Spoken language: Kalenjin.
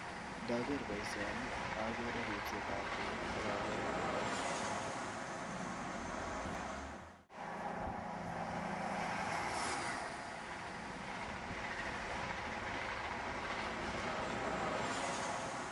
Ndoger boisioini ogere ripsetab tuga ak ogere teta neuwon mianat.